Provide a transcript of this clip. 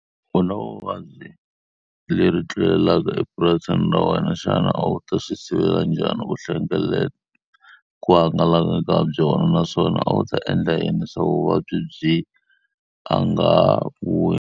Ku na vuvabyi lebyi tlulelaka epurasini ra wena. Xana a wu ta swi sivela njhani ku ku hangalaka ka byona? Naswona a wu ta endla yini leswaku vuvabyi byi a nga .